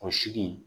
O sigi